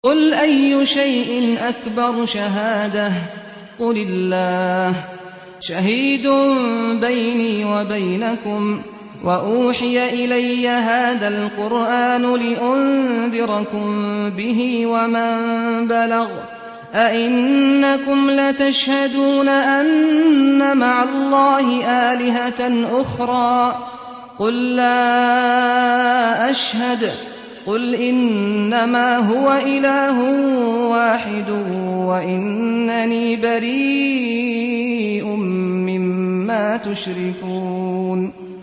قُلْ أَيُّ شَيْءٍ أَكْبَرُ شَهَادَةً ۖ قُلِ اللَّهُ ۖ شَهِيدٌ بَيْنِي وَبَيْنَكُمْ ۚ وَأُوحِيَ إِلَيَّ هَٰذَا الْقُرْآنُ لِأُنذِرَكُم بِهِ وَمَن بَلَغَ ۚ أَئِنَّكُمْ لَتَشْهَدُونَ أَنَّ مَعَ اللَّهِ آلِهَةً أُخْرَىٰ ۚ قُل لَّا أَشْهَدُ ۚ قُلْ إِنَّمَا هُوَ إِلَٰهٌ وَاحِدٌ وَإِنَّنِي بَرِيءٌ مِّمَّا تُشْرِكُونَ